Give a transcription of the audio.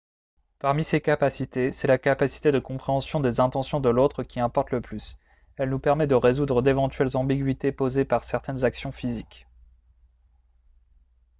parmi ces capacités c'est la capacité de compréhension des intentions de l'autre qui importe le plus elle nous permet de résoudre d'éventuelles ambiguïtés posées par certaines actions physiques